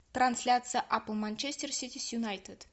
трансляция апл манчестер сити с юнайтед